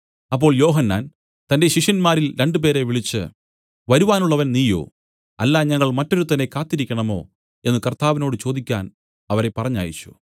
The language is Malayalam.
അപ്പോൾ യോഹന്നാൻ തന്റെ ശിഷ്യന്മാരിൽ രണ്ടുപേരെ വിളിച്ചു വരുവാനുള്ളവൻ നീയോ അല്ല ഞങ്ങൾ മറ്റൊരുത്തനെ കാത്തിരിക്കേണമോ എന്നു കർത്താവിനോട് ചോദിക്കാൻ അവരെ പറഞ്ഞയച്ചു